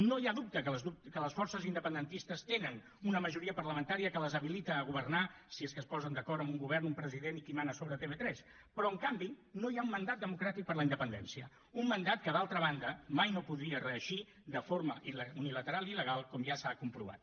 no hi ha dubte que les forces independentistes tenen una majoria parlamentària que les habilita a governar si és que es posen d’acord amb un govern un president i qui mana sobre tv3 però en canvi no hi ha un mandat democràtic per la independència un mandat que d’altra banda mai no podria reeixir de forma unilateral i il·legal com ja s’ha comprovat